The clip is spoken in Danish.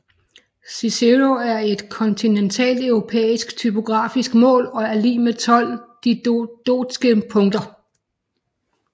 Cicero er et kontinentalt europæisk typografisk mål og er lig med 12 didotske punkt